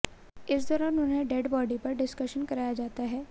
इस दौरान उन्हें डेड बॉडी पर डिस्केशन कराया जाता है